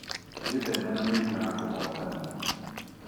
Wĩtheme na mĩrimũ ya kũgwatania.